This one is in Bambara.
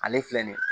Ale filɛ nin ye